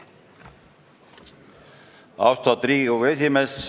Austatud Riigikogu esimees!